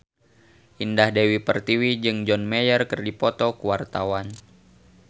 Indah Dewi Pertiwi jeung John Mayer keur dipoto ku wartawan